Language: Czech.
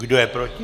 Kdo je proti?